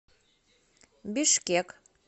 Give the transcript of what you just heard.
бишкек